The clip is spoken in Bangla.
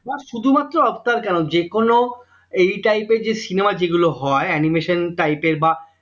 তোমার শুধুমাত্র আফটার কেন যেকোনো এই type এর যে cinema যেগুলো হয় animation type এর বা